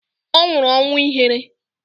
Ọ nwụrụ ọnwụ ihere